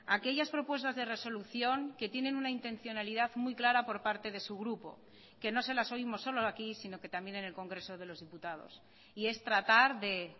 aquellas propuestas de resolución que tienen una intencionalidad muy clara por parte de su grupo que no se las oímos solo aquí sino que también en el congreso de los diputados y es tratar de